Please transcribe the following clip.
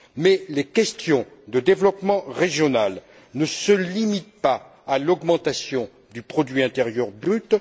Mais les questions de développement régional ne se limitent pas à l'augmentation du produit intérieur brut.